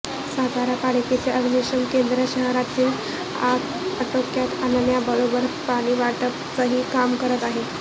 सातारा पालिकेचे अग्निशमन केेंद्र शहरातील आग आटोक्यात आणण्याबरोबरच पाणीवाटपाचंही काम करत आहे